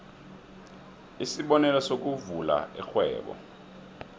isibonelo sokuvula irhwebo